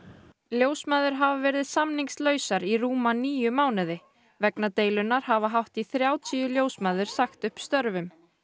ljósmæður hafa verið samningslausar í rúma níu mánuði vegna deilunnar hafa hátt í þrjátíu ljósmæður sagt upp störfum